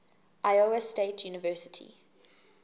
iowa state university